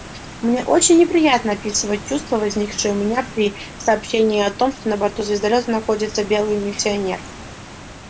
мне очень неприятно описывать чувства возникшие у меня при сообщении о том что на борту звездолёта находится беглый миссионер